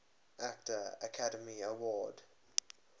actor academy award